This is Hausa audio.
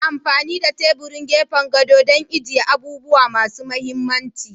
Ana amfani da teburin gefen gado don agiye abubuwa masu mahimmanci.